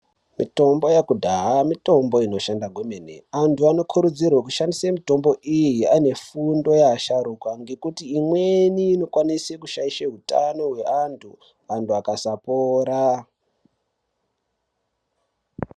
Mitombo yekudhaya mitombo inoshanda kwemene. Antu anokurudzirwe kushandisa mitombo iyi anefundo yeasharukwa ngekuti imweni inokwanisa kushaisha hutano hweantu antu akasapora.